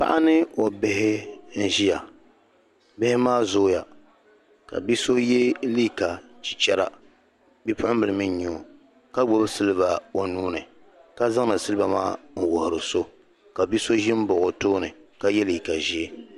Paɣa ni o bihi n-ʒiya ka bihi maa zooya ka bi'so ye liiga chichɛra bi'puɣinbili mii n-nyɛ o ka gbubi siliba o nuu ni zaŋ siliba maa n-wuhiri so ka bi'so ʒi m-baɣi o tooni ka ye liiga ʒee.